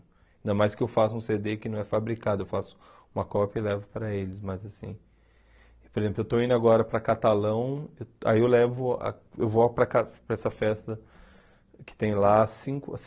Ainda mais que eu faça um cê dê que não é fabricado, eu faço uma cópia e levo para eles, mas assim... Por exemplo, eu estou indo agora para Catalão, aí eu levo eu vou para ca para essa festa que tem lá há cinco